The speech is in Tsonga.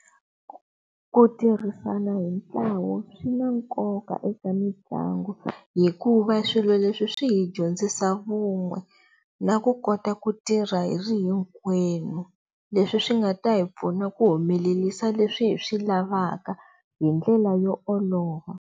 Ku tirhisana hi ntlawa swi na nkoka eka mitlangu hikuva swilo leswi swi hi dyondzisa vun'we na ku kota ku tirha hi ri hinkwenu leswi swi nga ta hi pfuna ku humelerisa leswi hi swi lavaka hi ndlela yo olova.